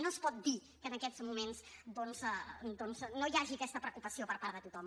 no es pot dir que en aquests moments no hi hagi aquesta preocupació per part de tothom